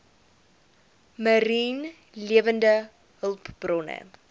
mariene lewende hulpbronne